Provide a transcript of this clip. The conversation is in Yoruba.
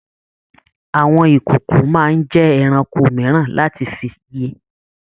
Àwọn ìkòkò máa n jẹ ẹranko mìíràn láti fí yé.